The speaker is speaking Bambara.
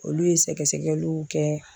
Olu ye sɛgɛsɛgɛliw kɛ